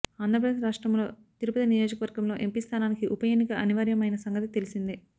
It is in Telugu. ఆంధ్ర ప్రదేశ్ రాష్ట్రములో తిరుపతి నియోజకవర్గం లో ఎంపీ స్థానానికి ఉప ఎన్నిక అనివార్యం అయిన సంగతి తెలిసిందే